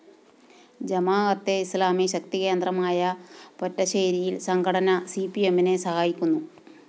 ജമാഅത്തെ ഇസ്ലാമി ശക്തികേന്ദ്രമായ പൊറ്റശ്ശേരിയില്‍ സംഘടന സിപിഎമ്മിനെ സഹായിക്കുന്നു